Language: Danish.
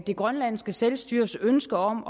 grønlandske selvstyres ønske om